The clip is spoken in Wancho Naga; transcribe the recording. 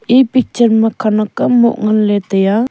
e picture ma khanak am moh ngan ley tai a.